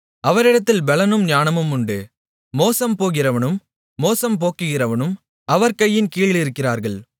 அவரிடத்தில் பெலனும் ஞானமுமுண்டு மோசம் போகிறவனும் மோசம் போக்குகிறவனும் அவர் கையின் கீழிருக்கிறார்கள்